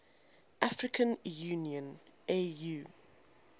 african union au